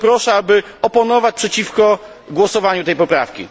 Dlatego proszę, aby oponować przeciwko przegłosowaniu tej poprawki.